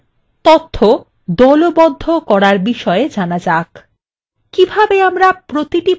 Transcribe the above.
এখন তথ্য দলবদ্ধ করার বিষয়ে জানা যাক